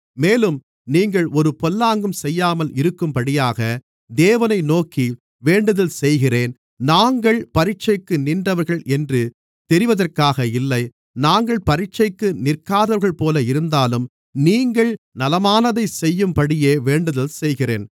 மேலும் நீங்கள் ஒரு பொல்லாங்கும் செய்யாமல் இருக்கும்படியாக தேவனை நோக்கி வேண்டுதல்செய்கிறேன் நாங்கள் பரீட்சைக்கு நின்றவர்கள் என்று தெரிவதற்காக இல்லை நாங்கள் பரீட்சைக்கு நிற்காதவர்கள்போல இருந்தாலும் நீங்கள் நலமானதைச் செய்யும்படியே வேண்டுதல்செய்கிறேன்